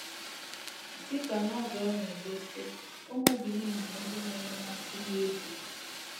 DỊ KA Novel na - egosi, ụmụ Benin bụ ndị nwere mmasị n’egwú.